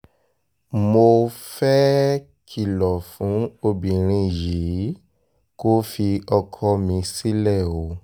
mo fẹ́ẹ́ kìlọ̀ fún obìnrin yìí kó fi ọkọ mi sílẹ̀ o